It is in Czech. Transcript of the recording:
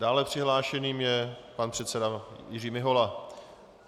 Dále přihlášeným je pan předseda Jiří Mihola.